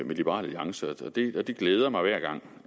med liberal alliance og det det glæder mig hver gang